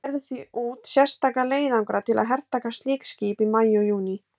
Þeir gerðu því út sérstaka leiðangra til að hertaka slík skip í maí og júní.